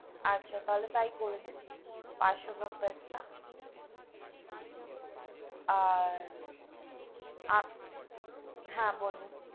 আচ্ছা, তাহলে তাই করে দিন পাঁচশো gram পিস্তা আর হা বলুন,